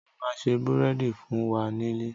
Mo ma se búrẹ́dì fún wa nílé